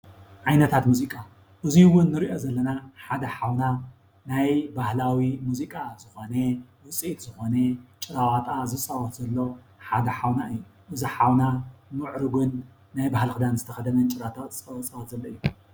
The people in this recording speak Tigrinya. ዓይነታት ሙዚቃ እዙይ እውን እንርእዮ ዘለና ሓደ ሓውና ናይ ባህላዊ ሙዚቃ ዝኾነ ውፅኢት ዝኾነ ጭራዋጣ ዝፃወት ዘሎ ሓደ ሓውና እዩ። እዙይ ሓውና ምዕርጉን ናይ ባህሊ ኽዳን ዝተኸደነ ጭራዋጣ ዝፃወት ዘሎ እዩ።